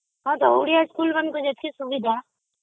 ହଁ ତ ଓଡ଼ିଆ ସ୍କୁଲମାନଙ୍କରେ ଯେତିକି ସୁବିଧା